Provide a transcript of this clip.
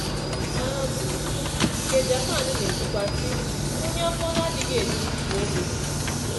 um Nke Japan na-ekwukwa, sị: “Onye afọ na-adịghị eju bụ ogbenye.